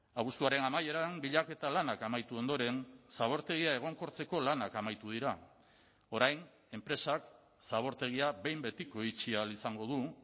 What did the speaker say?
abuztuaren amaieran bilaketa lanak amaitu ondoren zabortegia egonkortzeko lanak amaitu dira orain enpresak zabortegia behin betiko itxi ahal izango du